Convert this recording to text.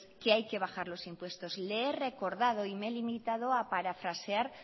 que hay que bajar los impuestos le he recordado y me he limitado a parafrasear